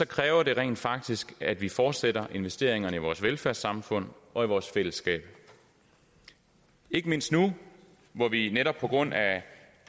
kræver det rent faktisk at vi fortsætter investeringerne i vores velfærdssamfund og vores fællesskab ikke mindst nu hvor vi netop på grund af